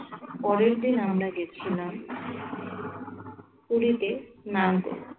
পরের দিন আমরা গেছিলাম পুরিতে স্নান করতে।